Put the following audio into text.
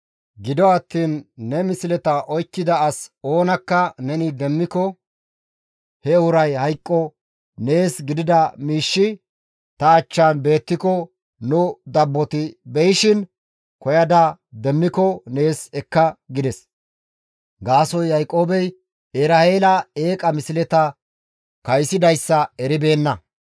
Gido attiin ne misleta oykkida as oonakka neni demmiko he uray hayqqo! Nees gidida miishshi ta achchan beettiko nu dabboti beyishin koyada demmiko nees ekka» gides; gaasoykka Yaaqoobey Eraheela eeqa misleta kaysidayssa eribeenna.